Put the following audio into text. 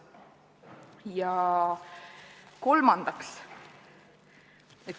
Ja kolmandaks.